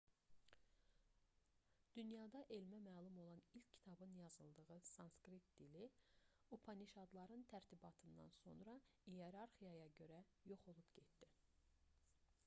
dünyada elmə məlum olan ilk kitabın yazıldığı sanskrit dili upanişadların tərtibatından sonra iyerarxiyaya görə yox olub getdi